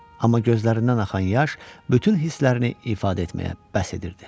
Amma gözlərindən axan yaş bütün hisslərini ifadə etməyə bəhs edirdi.